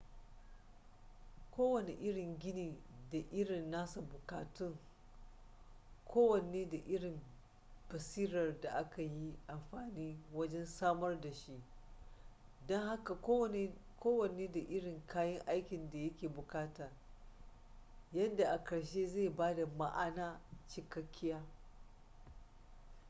kowane irin gini da irin nasa bukatun kowanne da irin basirar da aka yi amfani wajen samar da shi don haka kowanne da irin kayan aikin da ya ke bukata yadda a karshe zai bada ma'ana cikakkiya